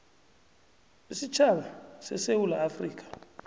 isitjhaba sesewula afrika